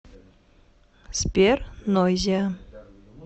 сбер нойзиа